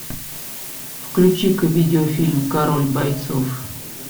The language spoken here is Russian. включи ка видеофильм король бойцов